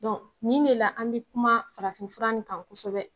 nin de la an bɛ kuma farafin fura nin kan kosɛbɛ.